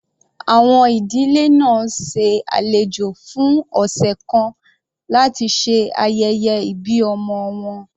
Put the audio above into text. Àwọn ìdílé náà ṣe alejò fún ọ̀sẹ̀ kan láti ṣe ayẹyẹ ìbí ọmọ wọn.